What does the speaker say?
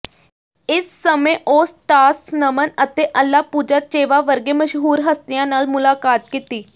ਇਸ ਸਮੇਂ ਉਹ ਸਟਾਸ ਨਮਨ ਅਤੇ ਅੱਲਾ ਪੂਜਾਚੇਵਾ ਵਰਗੇ ਮਸ਼ਹੂਰ ਹਸਤੀਆਂ ਨਾਲ ਮੁਲਾਕਾਤ ਕੀਤੀ